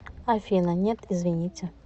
афина нет извините